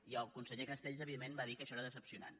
i el conseller castells evidentment va dir que això era decebedor